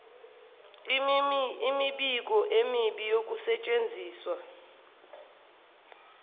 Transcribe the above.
imibiko emibi yokusetshenziswa